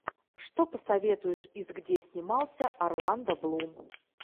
что посоветуешь из где снимался орландо блум